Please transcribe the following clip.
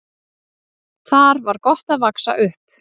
Þar var gott að vaxa upp.